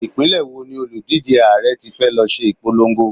Ìpínlẹ̀ wo ni òlùdíje Ààrẹ tí fẹ́ lọ ṣe ìpolongo?